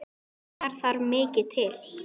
Þar þarf mikið til.